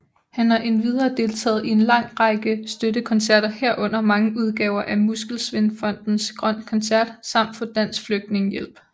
Han har endvidere deltaget i en lang række støttekoncerter herunder mange udgaver af Muskelsvindfondens Grøn koncert samt for Dansk Flygtningehjælp